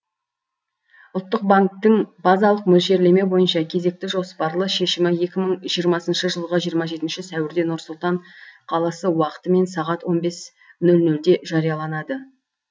ұлттық банктің базалық мөлшерлеме бойынша кезекті жоспарлы шешімі екі мың жиырмасыншы жылғы жиырма жетінші сәуірде нұр сұлтан қаласы уақытымен сағат он бес нөл нөлде жарияланады